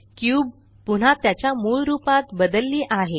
cube पुन्हा त्याच्या मूळ रूपात बदलली आहे